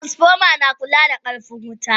Transformer na kula da karfin wuta.